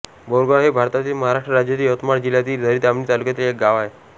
बोरगाव हे भारतातील महाराष्ट्र राज्यातील यवतमाळ जिल्ह्यातील झरी जामणी तालुक्यातील एक गाव आहे